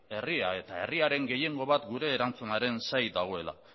herria eta herriaren gehiengo bat gure erantzunaren zain dagoela